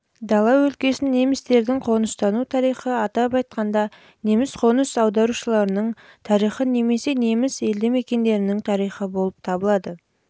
дала өлкесін немістердің қоныстану тарихы атап айтқанда неміс қоныс аударушыларының тарихы немесе неміс елді-мекендерінің тарихы болып табылады